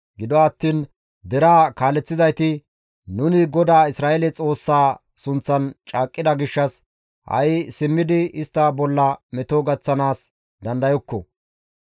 Gido attiin deraa kaaleththizayti, «Nuni GODAA Isra7eele Xoossaa sunththan caaqqida gishshas ha7i simmidi istta bolla meto gaththanaas dandayokko.